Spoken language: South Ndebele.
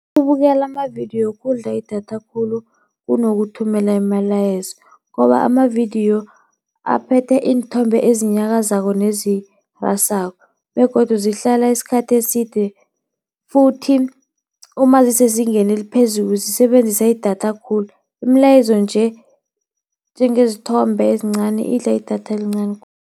Ukubukela amavidiyo kudla idatha khulu kunokuthumela imalayezo, ngoba amavidiyo aphethe iinthombe ezinyakazako nezirasako begodu zihlala isikhathi eside futhi uma zisezingeni eliphezulu zisebenzisa idatha khulu. Imilayezo njengezithombe ezincani idla idatha elincani.